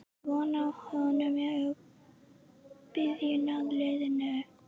Er von á honum í byrjunarliðinu í næsta leik?